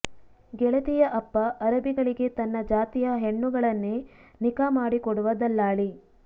ಗೆಳತಿಯ ಅಪ್ಪ ಅರಬಿಗಳಿಗೆ ತನ್ನ ಜಾತಿಯ ಹೆಣ್ಣುಗಳನ್ನೇ ನಿಖಾ ಮಾಡಿಕೊಡುವ ದಲ್ಲಾಳಿ